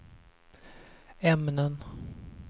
ämnen